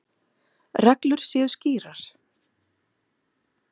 Reglur séu skýrar.